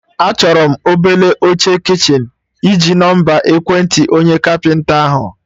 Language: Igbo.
Achọrọ m obele oche kichin, ịji nọmba ekwentị onye kapịnta ahụ?